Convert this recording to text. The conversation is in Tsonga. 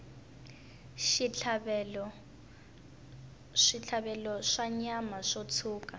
switlhavelo swa nyama yo tshuka